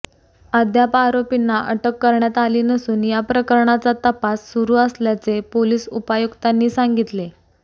अद्याप आरोपींना अटक करण्यात आली नसून या प्रकरणाचा तपास सुरु असल्याचे पोलीस उपायुक्तांनी सांगितले